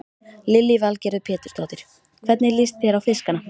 Lillý Valgerður Pétursdóttir: Hvernig líst þér á fiskana?